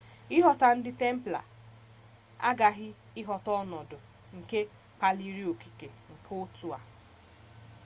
ịghọta ndị templars aghaghi ịghọta ọnọdụ nke kpaliri okike nke otu a